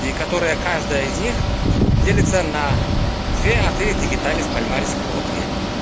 и которая каждая из них делится на две отель дигиталис пальмарес пропли